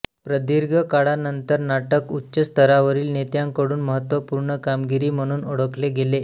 प्रदीर्घ काळानंतर नाटक उच्च स्तरावरील नेत्यांकडून महत्त्वपूर्ण कामगिरी म्हणून ओळखले गेले